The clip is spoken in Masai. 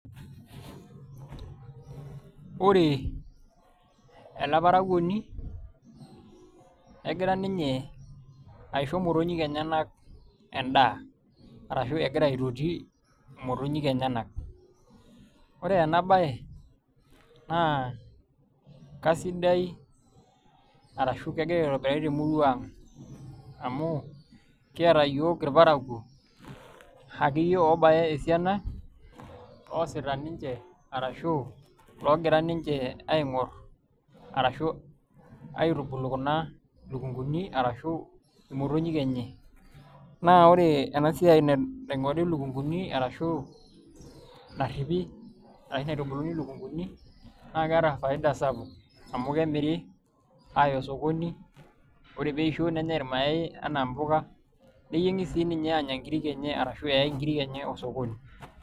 Ore ena parakuoni negira ninye aisho imotonyi enyenak endaa arashu egira aitoti imotonyik enyenak ore ena baye naa kesidai arashu kegira aitobirari temurua aang' amu kiata iyiook irparakuo akeyie oobaya esiana oosita ninche arashu oogira ninche aing'orr arashu aitubulu kuna lukunguni arashu imotonyik enye naa ore ena siai naing'ori ilukunguni arashu narripi arashu naitubuluni ilukunguni naa keeta faida sapuk amu kemiri aaya osokoni ore pee eisho nenyai irmayaai nenyai enaa mpuka neyieng'i sii ninye aanya nkiri arashu eyaai nkiri enye osokoni.